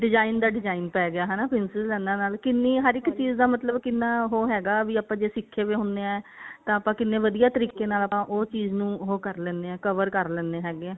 design ਦਾ design ਪੈ ਗਿਆ ਹਨਾ princess ਲਾਈਨਾ ਦਾ ਕਿੰਨੀ ਹਰ ਇੱਕ ਚੀਜ਼ ਦਾ ਮਤਲਬ ਕਿੰਨਾ ਉਹ ਹੈਗਾ ਵੀ ਆਪਾਂ ਜੇ ਸਿੱਖੇ ਵੇ ਹੁਣੇ ਆ ਤਾਂ ਆਪਾਂ ਕਿੰਨੇ ਵਧੀਆ ਤਰੀਕੇ ਨਾਲ ਉਹ ਚੀਜ਼ ਨੂੰ ਉਹ ਕਰ ਲਿੰਨੇ cover ਕਰ ਲਿੰਨੇ ਹੈਗੇ ਆ